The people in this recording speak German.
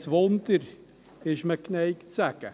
Kein Wunder, ist man geneigt zu sagen.